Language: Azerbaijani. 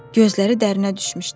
Gözləri dərinə düşmüşdü.